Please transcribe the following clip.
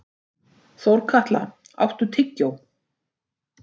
Þórkatla, áttu tyggjó?